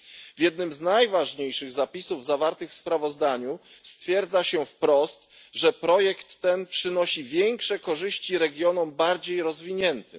W jednym z najważniejszych zapisów zawartych w sprawozdaniu stwierdzono wprost, że projekt ten przynosi większe korzyści regionom bardziej rozwiniętym.